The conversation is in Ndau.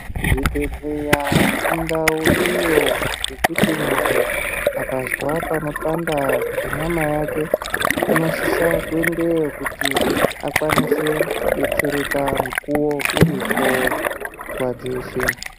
Zvibhedhleya indau iyo yekuti munhu akazwa panopanda penyama yake ,unosisa kuendeyo kuti akwanise kudetsereka mukuwo uripo nguwa dzeshe.